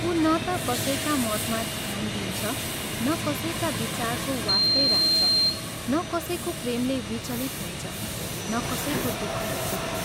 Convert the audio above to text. उ न ता कसैका मतमा ध्यान दिन्छ, न कसैका विचारको वास्तै राख्छ न कसैको प्रेमले विचलित हुन्छ, न कसैको दुःखले दुःखी।